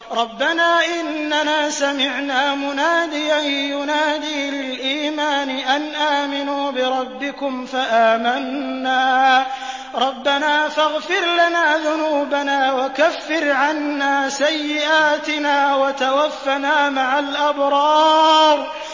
رَّبَّنَا إِنَّنَا سَمِعْنَا مُنَادِيًا يُنَادِي لِلْإِيمَانِ أَنْ آمِنُوا بِرَبِّكُمْ فَآمَنَّا ۚ رَبَّنَا فَاغْفِرْ لَنَا ذُنُوبَنَا وَكَفِّرْ عَنَّا سَيِّئَاتِنَا وَتَوَفَّنَا مَعَ الْأَبْرَارِ